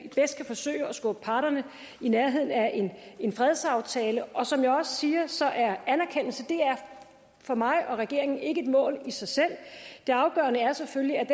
forsøge at skubbe parterne i nærheden af en fredsaftale og som jeg også siger så er anerkendelse for mig og regeringen ikke et mål i sig selv det afgørende er selvfølgelig at